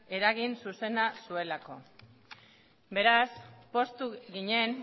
eragin zuzena zuelako beraz poztu ginen